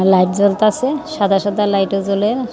Light জ্বলতাছে সাদা সাদা লাইটও জ্বলে।